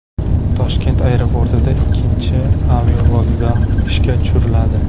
Toshkent aeroportida ikkinchi aerovokzal ishga tushiriladi.